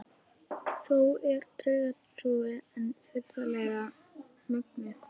Þó er draugatrúin enn furðanlega mögnuð.